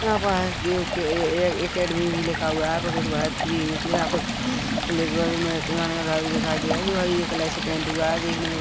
यहाँ पर हसदेव के ए एकेडेमी भी लिखा हुआ है यहाँ पे कुछ बात भी होगी यहाँ पे भी दिखाई दे रहा है जो हरी कलर से पेंट हुआ हैं देखने में ब--